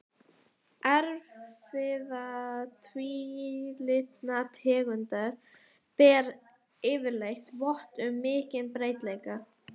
Erfðaefni tvílitna tegunda ber yfirleitt vott um mikinn breytileika.